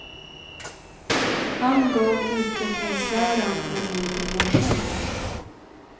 Han gav utvecklingsläran en ny dimension.